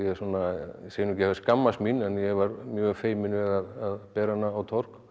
segi ekki hafi skammast mín en ég var mjög feiminn við að bera hana á torg